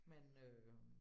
Men øh